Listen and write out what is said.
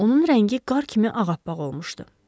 Onun rəngi qar kimi ağappaq olmuşdu.